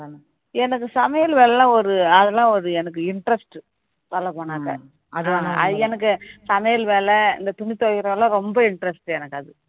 எனக்கு சமையல் வேலை எல்லாம் ஒரு அதெல்லாம் ஒரு எனக்கு interest அது எனக்கு சமைல வேலை இந்த துணி துவைக்கிற வேலை எல்லாம் ரொம்ப interest எனக்கு அது